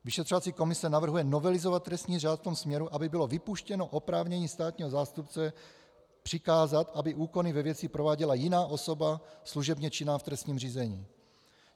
Vyšetřovací komise navrhuje novelizovat trestní řád v tom směru, aby bylo vypuštěno oprávnění státního zástupce přikázat, aby úkony ve věci prováděla jiná osoba služebně činná v trestním řízení.